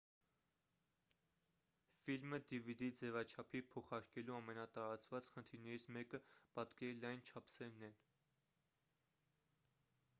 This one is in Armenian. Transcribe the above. ֆիլմը dvd ձևաչափի փոխարկելու ամենատարածված խնդիրներից մեկը պատկերի լայն չափսերն են